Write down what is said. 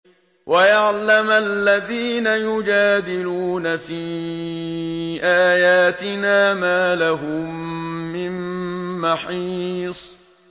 وَيَعْلَمَ الَّذِينَ يُجَادِلُونَ فِي آيَاتِنَا مَا لَهُم مِّن مَّحِيصٍ